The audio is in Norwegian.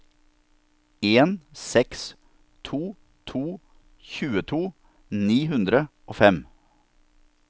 en seks to to tjueto ni hundre og fem